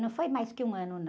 Não foi mais que um ano, não.